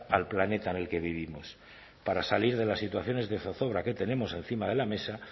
al planeta en el que vivimos para salir de las situaciones de zozobra que tenemos encima de la mesa